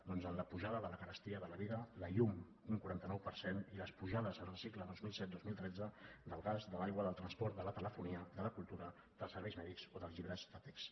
doncs en la pujada de la carestia de la vida la llum un quaranta nou per cent i les pujades en el cicle dos mil set dos mil tretze del gas de l’aigua del transport de la telefonia de la cultura dels serveis mèdics o dels llibres de text